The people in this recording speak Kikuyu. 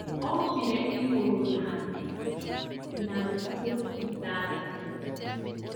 Ombire igũrũ na thĩ na thikũ ithathatũ